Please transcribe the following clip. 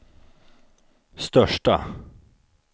största